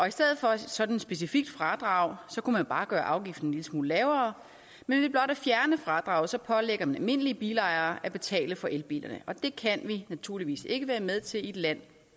i stedet for sådan et specifikt fradrag kunne man bare gøre afgiften en lille smule lavere men ved blot at fjerne fradraget pålægger man almindelige bilejere at betale for elbilerne og det kan vi naturligvis ikke være med til i et land